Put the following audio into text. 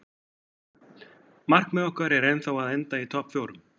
Markmið okkar er ennþá að enda í topp fjórum.